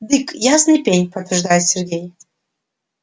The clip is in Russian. дык ясный пень подтверждает сергей